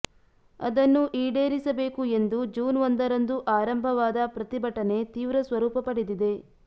ಅದನ್ನು ಈಡೇರಿಸಬೇಕು ಎಂದು ಜೂನ್ ಒಂದರಂದು ಆರಂಭವಾದ ಪ್ರತಿಭಟನೆ ತೀವ್ರ ಸ್ವರೂಪ ಪಡೆದಿದೆ